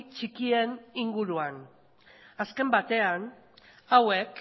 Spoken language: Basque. txikien inguruan azken batean hauek